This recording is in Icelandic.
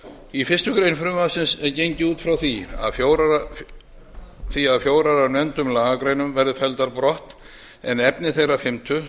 í fyrstu grein frumvarpsins er gengið út frá því að fjórar af nefndum lagagreinum verði felldar brott en efni þeirrar fimmtu